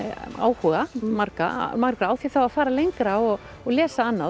áhuga margra margra á því þá að fara lengra og og lesa annað og